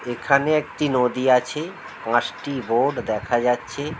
এখানে একটি নদী আছি পাঁচটি বোর্ড দেখা যাচ্ছে--